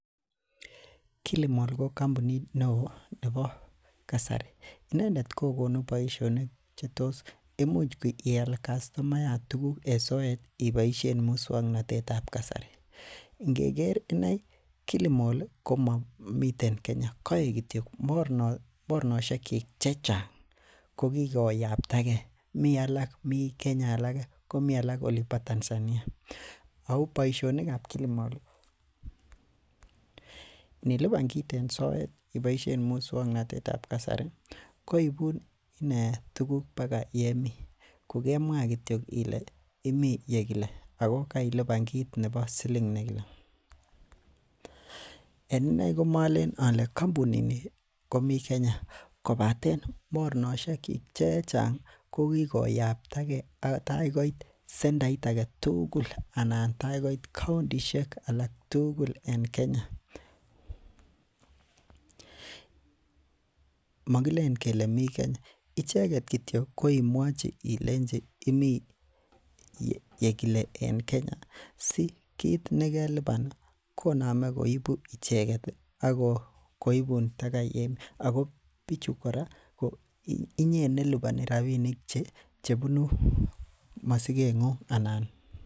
Kilimall ko kampunit neoo nebo kasari inendet ko konu boisionik chetos imuch ial castomayat tuguk en soet iboisien muswongnotet ab kasari, ngeker inei Kilimall ko momiten Kenya koik kityok mornosiek kyik chechang ko kikoyaptagee mii alak mii Kenya alak komii alak olin bo Tanzania ako boisionik ab Kilimall niliban kit en soet iboisien muswongnotet ab kasari koibun inee tuguk baka yemii kokemwaa kityok ile imii yekile ako keilipan kit nebo siling nekile. En inei komolen ole kampunit ni komii Kenya kobaten mornosiek kyik chechang ko kikoyaptagee tai koit sentait aketugul anan tai koit kauntisiek alak tugul en Kenya. Mokilen kele mi Kenya icheket kityok ko imwochi ilenji imii yekile en Kenya si kit nekeliban ih konome koibu icheket ih akoibun baka yemii ako bichu kora ko inyee neliponi rapinik chebunu masiket ng'ung anan